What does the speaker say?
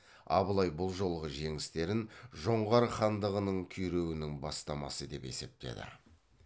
абылай бұл жолғы жеңістерін жоңғар хандығының күйреуінің бастамасы деп есептеді